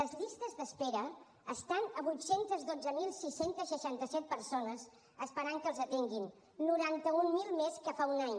les llistes d’espera estan a vuit cents i dotze mil sis cents i seixanta set persones esperant que els atenguin noranta mil més que fa un any